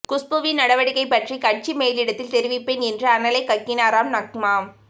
குஷ்புவின் நடவடிக்கை பற்றி கட்சி மேலிடத்தில் தெரிவிப்பேன் என்று அனலை கக்கினாராம் நக்மா